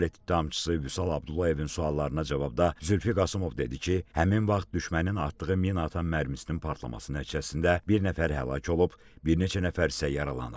Dövlət ittihamçısı Vüsal Abdullayevin suallarına cavabda Zülfi Qasımov dedi ki, həmin vaxt düşmənin atdığı minaatan mərmisinin partlaması nəticəsində bir nəfər həlak olub, bir neçə nəfər isə yaralanıb.